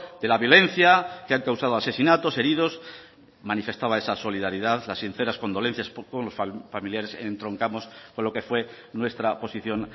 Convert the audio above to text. de la violencia que han causado asesinatos heridos manifestaba esa solidaridad las sinceras condolencias con los familiares entroncamos con lo que fue nuestra posición